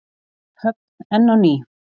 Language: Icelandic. Höfn enn á ný?